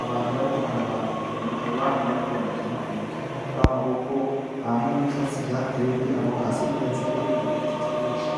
abantu bariko bararaba ukuntu abana bariko barakina uwo mupira w'amaboko hama hari n'ivyatsi vyahatewe kugira hase neza hakaba hari n'ibiti vyinshi.